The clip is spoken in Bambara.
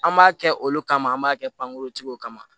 An b'a kɛ olu kama an b'a kɛ pankuruntigiw kama